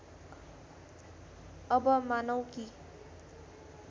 अब मानौँ कि